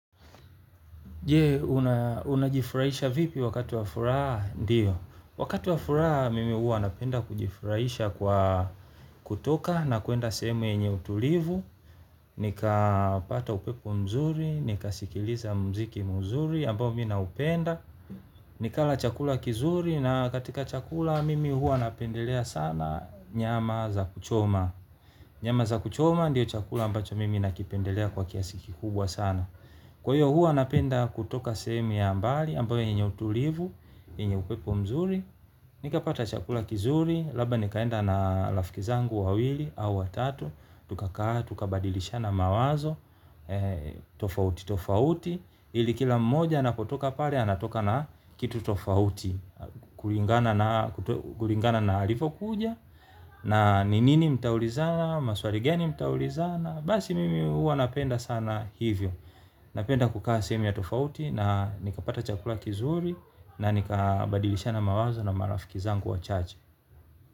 Je, unajifurahisha vipi wakati wa furaha, ndiyo. Wakati wa furaha, mimi hua napenda kujifurahisha kwa kutoka na kuenda sehemu yenye utulivu. Nikapata upepo mzuri, nikasikiliza mziki mzuri, ambao mi naupenda. Nikala chakula kizuri na katika chakula, mimi huwa napendelea sana nyama za kuchoma. Nyama za kuchoma, ndiyo chakula ambacho mimi nakipendelea kwa kiasi kikubwa sana. Kwa hiyo huwa napenda kutoka sehemu ya mbali, ambayo yenye utulivu, yenye upepo mzuri, nikapata chakula kizuri, labda nikaenda na rafiki zangu wawili au watatu, tukakaa, tukabadilishana mawazo, tofauti, tofauti, ili kila mmoja anapotoka pale anatoka na kitu tofauti kulingana na, kulingana na alivokuja, na ni nini mtaulizana, maswali gani mtaulizana, basi mimi huwa napenda sana hivyo. Napenda kukaa sehemu ya tofauti na nikapata chakula kizuri na nikabadilishana mawazo na marafiki zangu wachache.